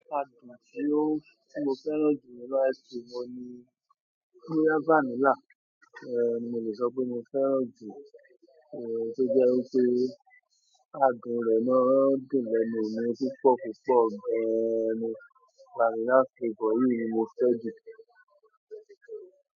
Àdùn tí ó tí mo fẹ́ràn jù nínú ice cream oun ni boya vanilla. Ehn oun ni mo le sọ pé mo fẹ́ràn jù to jẹ́ wípé àdùn rẹ̀ máa ń dùn lẹ́nu mí púpọ̀ púpọ̀ gan-ni. Vanilla flavour yìí ni mo fẹ́ jù.